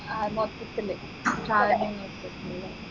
ആഹ് മൊത്തത്തില് സാധനങ്ങൾക്ക് ല്ലേ